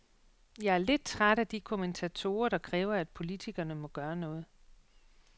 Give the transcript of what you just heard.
Jeg er lidt træt af de kommentatorer, der kræver, at politikerne må gøre noget.